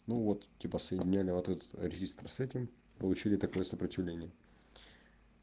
ну вот типа соединили вот этот резистор с этим получили такое сопротивление